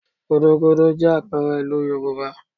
Gúdúgúdú jẹ́ àpẹẹrẹ ìlú Yorùbá